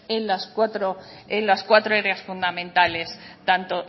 en las cuatros áreas fundamentales tanto